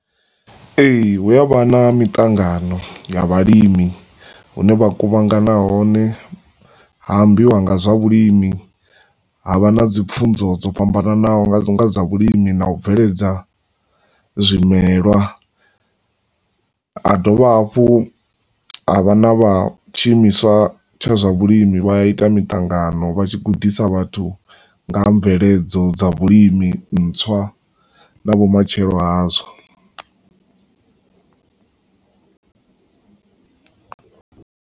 Ee, hu avha na miṱangano ya vhalimi, hu ne vha kuvhangana hone, ha ambiwa nga zwa vhulimi, havha na dzi pfunzo dzo fhambananaho nga zwa vhulimi na u bveledza zwimelwa. Ha dovha hafhu ha vha na vha tshiimiswa tsha zwa vhulimi, vha a ita miṱangano, vha tshi gudisa vhathu nga ha mveledzo dza vhulimi ntswa na vhumatshelo hazwo.